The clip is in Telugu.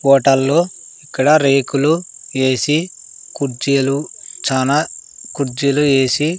ఓటల్లో ఇక్కడ రేకులు ఏసి కుర్జీలు చానా కుర్జీలు ఏసి--